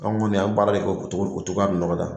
Anw kɔni an b'a lajɛ o togo o togo nɔgɔya